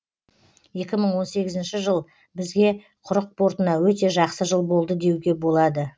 екі мың он сегізінші жыл бізге құрық портына өте жақсы жыл болды деуге болады